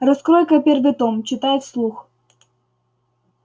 раскрой-ка первый том читай вслух